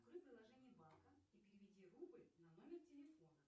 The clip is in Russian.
открой приложение банка и переведи рубль на номер телефона